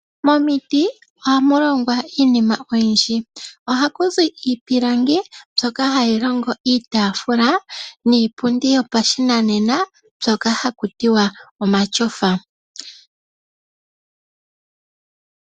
Momiti ohamu longwa iinima oyindji. Ohakuzi iipilangi mbyoka hayi longo iitaafula niipundi yopashinanena haku tiwa omatyofa.